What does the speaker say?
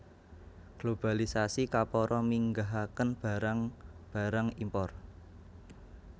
Globalisasi kapara minggahaken barang barang impor